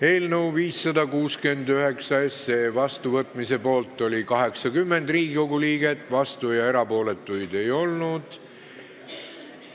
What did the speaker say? Hääletustulemused Eelnõu 569 seadusena vastuvõtmise poolt oli 80 Riigikogu liiget, vastuolijaid ja erapooletuid ei olnud.